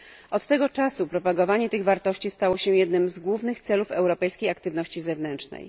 Od tego czasu propagowanie tych wartości stało się jednym z głównych celów europejskiej aktywności zewnętrznej.